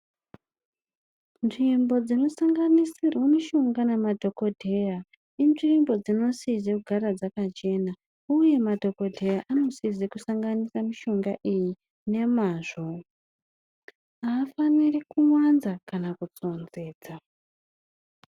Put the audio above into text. Nzvimbo dzinosanganisirwa mishonga nemadhokodheya inzvimbo dzinosize kugara dzakachena ,uye madhokodheya anosize kusanganisa mishonga iyi nemazvo, aafaniri kuwanza kana kutsonzedza.